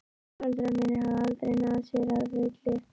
Foreldrar mínir hafa aldrei náð sér að fullu.